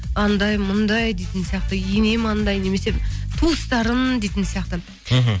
анандай мұндай дейтін сияқты енем анандай немесе туыстарың дейтін сияқты мхм